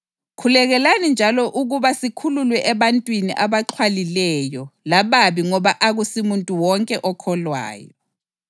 Khulekani njalo ukuba sikhululwe ebantwini abaxhwalileyo lababi ngoba akusimuntu wonke okholwayo.